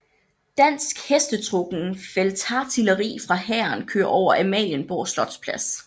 Dansk hestetrukken feltartilleri fra hæren kører over Amalienborg slotsplads